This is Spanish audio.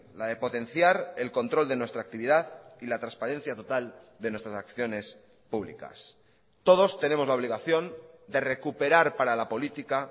la de potenciar el control de nuestra actividad y la transparencia total de nuestras acciones públicas todos tenemos la obligación de recuperar para la política